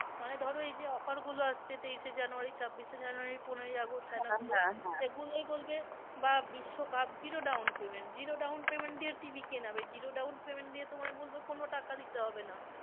মানে ধরো এই যে offer গুলো আসছে তেইশ এ january ছাব্বিশ এ january পনোরই august এগুলোয় বলবে বা বিশ্বকাপ zero down payment, zero down payment দিয়ে টিভি কেনাবে zero down payment দিয়ে তোমায় বলবে কোনো টাকা দিতে হবে না